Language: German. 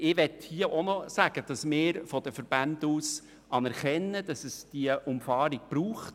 Ich will darauf hinweisen, dass wir vonseiten der Verbände anerkennen, dass es die Umfahrung Richtung Westen braucht.